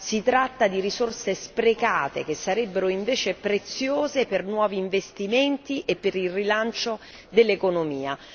Si tratta di risorse sprecate che sarebbero invece preziose per nuovi investimenti e per il rilancio dell'economia